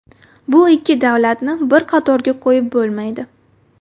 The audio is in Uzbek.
Bu ikki davlatni bir qatorga qo‘yib bo‘lmaydi.